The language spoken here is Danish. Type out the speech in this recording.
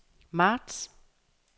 marts